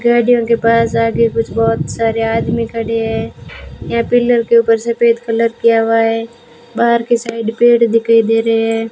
गाड़ियों के पास आगे कुछ बहुत सारे आदमी खड़े हैं यहां पिलर के ऊपर सफेद कलर किया हुआ है बाहर की साइड पेड़ दिखाई दे रहे हैं।